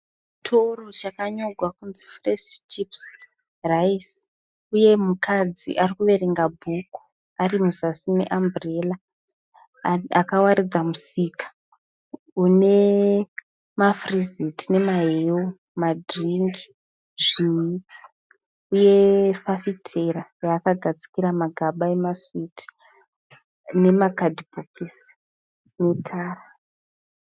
Chitoro chakanyorwa kunzii Fresh chips rice uye mukadzi ari kuverenga bhuku ari muzasi meamburera. Akawaridza musika une mafiriziti nemahewu, madhiringi, zvihwitsi uye fafitera yaakagadzikira magaba emasiwitsi nemakadhibhokisi netara.